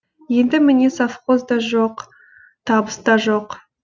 енді міне совхоз да жоқ табыс та жоқ